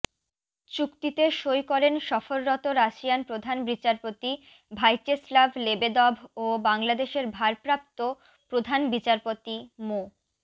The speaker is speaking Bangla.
চুক্তিতে সই করেন সফররত রাশিয়ান প্রধান বিচারপতি ভাইচেস্লাভ লেবেদভ ও বাংলাদেশের ভারপ্রাপ্ত প্রধান বিচারপতি মো